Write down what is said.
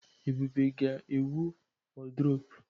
Ebube ga-ewu wọrdrọpu.